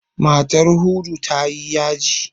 Matar Hudu ta yi yaji.